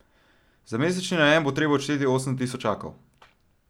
Za mesečni najem bo treba odšteti osem tisočakov.